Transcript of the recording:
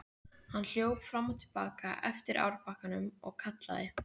Hann hljóp fram og til baka eftir árbakkanum og kallaði.